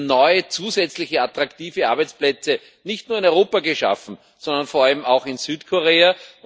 Wir haben neue zusätzliche, attraktive Arbeitsplätze nicht nur in Europa geschaffen, sondern vor allem auch in Südkorea.